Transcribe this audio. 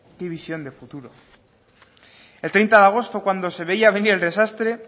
qué visión de futuro el treinta de agosto cuando se veía venir el desastre